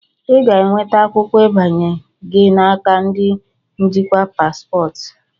Ị ga-enweta akwụkwọ ịbanye gị n'aka ndi njikwa paspọtụ.